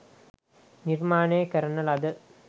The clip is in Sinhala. නිර්මාණය කරන ලද